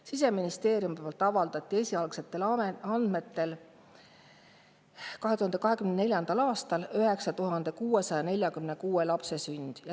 Siseministeeriumi avaldatud esialgsetel andmetel 2024. aastal 9646 lapse sünd.